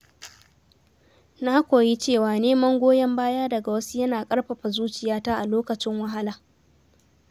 Na koyi cewa neman goyon baya daga wasu yana ƙarfafa zuciyata a lokacin wahala.